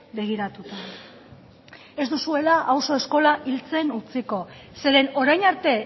begiratuta ez duzuela auzo eskola hiltzen utziko zeren orain arte